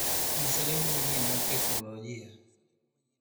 ng'isa lendo manyien mag teknolojia